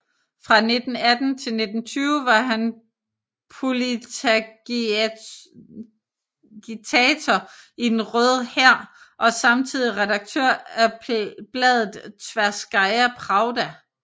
Fra 1918 til 1920 var han politagitator i den Røde Hær og samtidig redaktør af bladet Tverskaja Pravda